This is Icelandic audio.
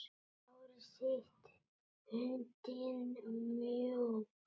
Hárið sítt, höndin mjúk.